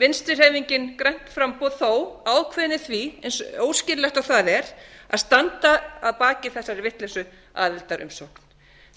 vinstri hreyfingin grænt framboð þó ákveðin í því eins óskýrlegt og það er að standa að baki þessari vitleysu aðildarumsókn